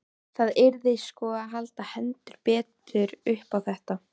Það yrði sko að halda heldur betur upp á þetta!